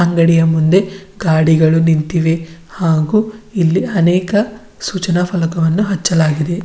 ಅಂಗಡಿಯ ಮುಂದೆ ಗಾಡಿಗಳು ನಿಂತಿವೆ ಹಾಗು ಇಲ್ಲಿ ಅನೇಕ ಸೂಚನಾ ಫಲಕವನ್ನು ಹಚ್ಚಲಾಗಿದೆ.